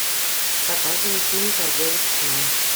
показывай фильм торговец сном